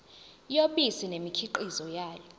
yobisi nemikhiqizo yalo